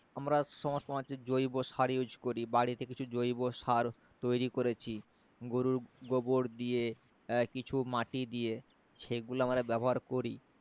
আমরা সমস্ত তোমার হচ্ছে জৈব সার use করি বাড়িতে কিছু জৈব সার তৈরি করেছি গরুর গোবর দিয়ে এর কিছু মাটি দিয়ে সেগুলো আমরা ব্যবহার করি